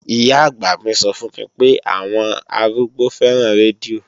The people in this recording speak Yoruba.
Ìyá-àgbà mi sọ fún mi pé àwọn àwọn arúgbó fẹ́ràn rédíò